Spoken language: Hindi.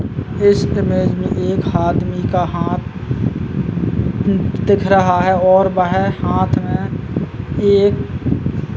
इस इमेज में एक आदमी का हाथ दिख रहा है और वह हाथ में एक --